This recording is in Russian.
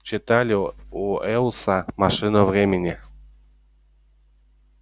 читали у уэллса машину времени